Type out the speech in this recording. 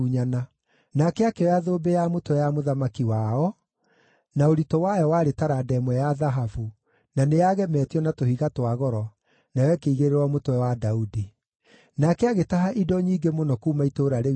Nake akĩoya thũmbĩ ya mũtwe ya mũthamaki wao, na ũritũ wayo warĩ taranda ĩmwe ya thahabu, na nĩ yagemetio na tũhiga twa goro, nayo ĩkĩigĩrĩrwo mũtwe wa Daudi. Nake agĩtaha indo nyingĩ mũno kuuma itũũra rĩu inene,